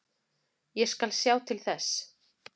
Ég skal sjá til þess.